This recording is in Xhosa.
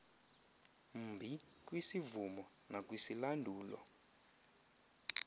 mbi kwisivumo nakwisilandulo